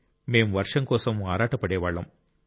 మేం వర్షం కోసం ఆరాటపడే వాళ్ళం